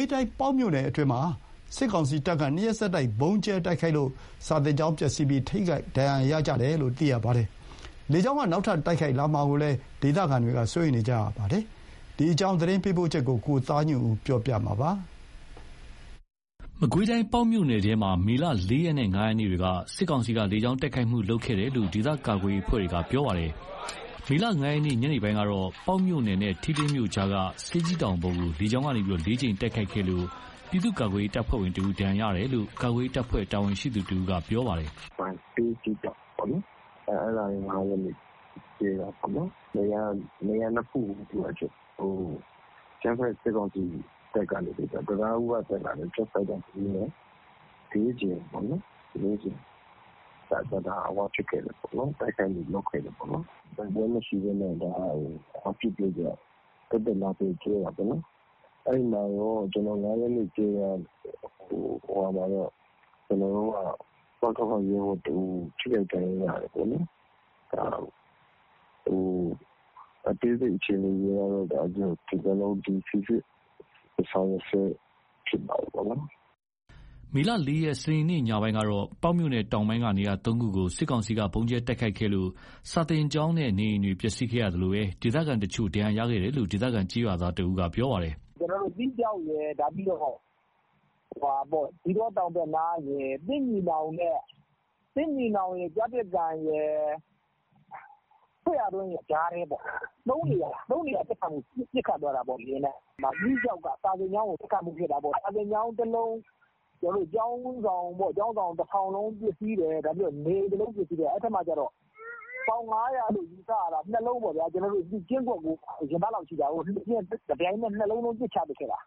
ေးတိုင်း ပေါက်မြို့နယ်အတွင်းမှာ စစ်ကောင်စီတပ်က နှစ်ရက်ဆက်တိုက် ဗုံးကြဲတိုက်ခိုက်လို့ စာသင်ကျောင်းပျက်စီးမှု ထိခိုက်ဒဏ်ရာရမှုရှိတယ်လို့ သိရပါတယ်။ လေကြောင်းတိုက်ခိုက်မှုတွေ နောက်ထပ်လုပ်လာမှာကိုလည်း ဒေသခံတွေ စိုးရိမ်နေကြပါတယ်။ ပေါက်မြို့နယ်အတွင်း စစ်ကောင်စီလေကြောင်းတိုက်ခိုက်မှု သတင်းပေးပို့ချက်ကို ကိုသားညွန့်ဦးက တင်ပြပေးထားပါတယ်။ မကွေးတိုင်း ပေါက်မြို့နယ်ထဲမှာ မေ ၄ ရက်နဲ့ ၅ ရက်နေ့တွေက စစ်ကောင်စီက လေကြောင်းတိုက်ခိုက်မှု လုပ်ခဲ့တယ်လို့ ဒေသကာကွယ်ရေးအဖွဲ့တွေက ပြောပါတယ်။ မေ ၅ ရက် ညနေပိုင်းကတော့ ပေါက်မြို့နယ်နဲ့ ထီးလင်းမြို့ကြားက ဆေးကြီးတောင်ပေါ်ကို လေကြောင်းကနေ ၄ ကြိမ်တိုက်ခိုက်ခဲ့လို့ ပြည်သူ့ကာကွယ်ရေးတပ်ဖွဲ့ဝင်တဦး ဒဏ်ရာရရှိတယ်လို့ ကာကွယ်ရေးတပ်ဖွဲ့ တာဝန်ရှိသူတဦးက ပြောပါတယ်။ "ဆေးကြီးတောင်ပေါ့ အဲ့ဒါက ၅ ရက်နေ့ ကြဲတာပေါ့။ နေရာ ၂ ခုကို အကြမ်းဖက် စစ်ကောင်စီရဲ့ တံတားဦးကတက်လာတဲ့ ဂျက်ဖိုက်တာ ၂ စီးနဲ့ ၄ ကြိမ်ပေါ့နော် တိုက်ခိုက်မှုလုပ်ခဲ့တယ်။ တိုက်ပွဲမရှိဘဲနဲ့ သက်သက်လာကြဲတာပေါ့။ အဲ့ ၅ ရက်နေ့ကြဲတာမှာ ကျနော်တို့ဘက်က ပကဖ ရဲဘော်တဦး ထိခိုက်ဒဏ်ရာ ရတယ်ပေါ့နော်။ အသေးစိတ်အခြေအနေက ကျနော်တို့ စီစစ်ဆောင်ရွက်ဆဲဖြစ်တာပေါ့။" မေ ၄ ရက် စနေနေ့ ညပိုင်းကတော့တော့ ပေါက်မြို့နယ်တောင်ပိုင်းက နေရာ ၃ ခုကို စစ်ကောင်စီက ဗုံးကြဲတိုက်ခိုက်ခဲ့လို့ စာသင်ကျောင်းနဲ့ နေအိမ်တွေ ပျက်စီးခဲ့ရသလို ဒေသခံတချို့ ဒဏ်ရာရခဲ့တယ်လို့ ဒေသခံကျေးရွာသားတဦးက ပြောပါတယ်။ "ကျနော်တို့ သီးခြောက် ၊ ဇီးတော တောင်ဘက်နား သစ်ညီနောင်ရယ်၊ ကျားပစ်ကန်ရယ်၊ သစ်ရာတွင်းရယ် ကြားထဲပေါ့။ ၃ နေရာ ပစ်ခတ်သွားတာပေါ့ လေယာဉ်နဲ့။ သီးခြောက်က စာသင်ကျောင်းကိုပစ်တာပေါ့။ စာသင်ကျောင်း တလုံး ကျောင်းဆောင်တဆောင်လုံး ပျက်စီးတယ်။ နေအိမ် တလုံးပျက်စီးတယ်ပေါ့။ အဲ့မှာက ပေါင် ၅၀၀ လို့ ယူဆရတာ ၂ လုံးပေါ့ဗျာ။ ကျင်းခွက်ကို ရင်ဘတ်လောက်ရှိတာကို တပြိုင်နက် ၂ လုံးလုံး ပစ်ချခဲ့တာ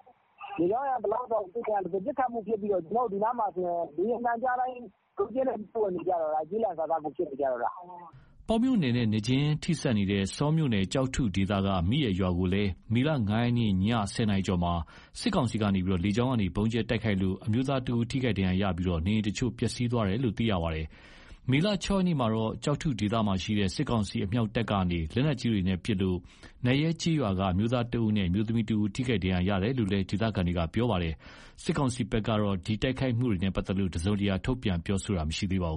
။ ပစ်ခတ်မှုဖြစ်ပြီးတော့ ဒီနားမှာဆိုရင် လေယာဉ်သံကြားတိုင်း ကျီးလန့်စာစားကို ဖြစ်နေတော့တာ။" ပေါက်မြို့နယ်နဲ့ နယ်မြေချင်းထိစပ်နေတဲ့ ဆောမြို့နယ် ကျောက်ထုဒေသက မိအယ်ရွာကိုလည်း မေ ၅ ရက် ည ၁၀ နာရီကျော်မှာ စစ်ကောင်စီက လေကြောင်းကနေ ဗုံးကြဲတိုက်ခိုက်လို့ အမျိုးသားတဦး ထိခိုက်ဒဏ်ရာရှိပြီး နေအိမ်တချို့ ပျက်စီးသွားတယ်လို့ သိရပါတယ်။ မေ ၆ ရက်မှာတော့ ကျောက်ထုဒေသမှာရှိတဲ့ စစ်ကောင်စီအမြောက်တပ်က လက်နက်ကြီးတွေပစ်ခတ်လို့ နတ်ရဲကျေးရွာက အမျိုးသားတဦးနဲ့ အမျိုးသမီးတဦး ထိခိုက်ဒဏ်ရာရတယ်လို့လည်း ဒေသခံတွေ ပြောပါတယ်။ စစ်ကောင်စီဘက်ကလည်း ဒီတိုက်ခိုက်မှုတွေနဲ့ပတ်သက်လို့ တစုံတရာ ထုတ်ပြန်ပြောဆိုတာမရှိပါဘူး